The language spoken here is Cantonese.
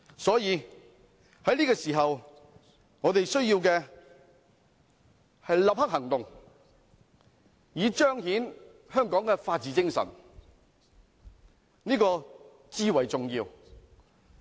因此，在這個時候，我們需要的是立刻行動，以彰顯香港的法治精神，這是至為重要的。